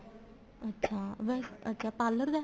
ਅੱਛਾ ਅੱਛਾ parlor ਦਾ